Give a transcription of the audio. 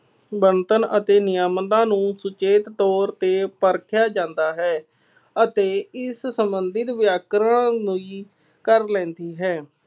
ਬਣਤਰ ਅਤੇ ਨਿਯਮਦਾਂ ਨੂੰ ਸੁਚੇਤ ਤੌਰ ਤੇ ਪਰਖਿਆ ਜਾਦਾ ਹੈ ਅਤੇ ਇਸ ਸੰਬੰਧਿਤ ਵਿਆਕਰਣ ਲਈ ਕਰ ਲੈਂਦੀ ਹੈ।